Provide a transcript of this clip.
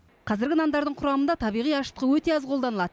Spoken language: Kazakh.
қазіргі нандардың құрамында табиғи ашытқы өте аз қолданылады